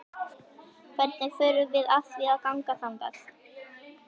Hvernig förum við að því að ganga þangað?